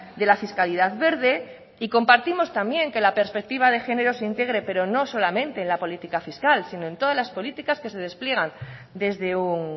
de la fiscalidad verde y compartimos también que la perspectiva de género se integre pero no solamente en la política fiscal sino en todas las políticas que se despliegan desde un